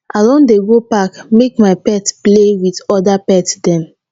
i don dey go park make my pet play wit oda pet dem